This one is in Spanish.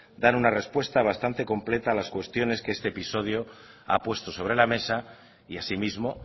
dan una repuesta bastante completa a las cuestiones que este episodio ha puesto sobre la mesa y asimismo